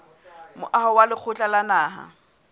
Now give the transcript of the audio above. moaho wa lekgotla la naha